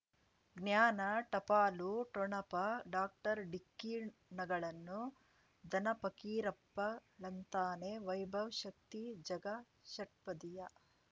ಜ್ಞಾನ ಟಪಾಲು ಠೊಣಪ ಡಾಕ್ಟರ್ ಢಿಕ್ಕಿ ಣಗಳನು ಧನ ಫಕೀರಪ್ಪ ಳಂತಾನೆ ವೈಭವ್ ಶಕ್ತಿ ಝಗಾ ಷಟ್ಪದಿಯ